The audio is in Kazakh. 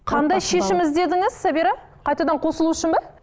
қандай шешім іздедіңіз сабира қайтадан қосылу үшін бе